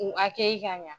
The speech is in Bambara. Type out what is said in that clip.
U hakɛ ka ɲa